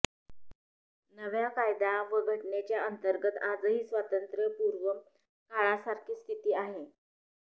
नव्या कायदा व घटनेच्या अंतर्गत आजही स्वातंत्र्यपूर्व काळासारखीच स्थिती आहे